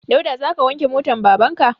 Dauda za ka wanke motan baban ka?